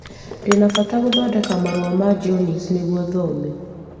Ndĩ na bata wa gũthondeka marũa ma Jones nĩguo thome.